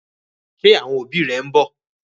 Ṣé àwọn òbí rẹ ń bọ̀?